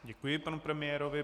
Děkuji panu premiérovi.